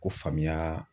Ko famuya